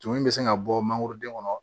Tumuni bɛ se ka bɔ mangoro den kɔnɔ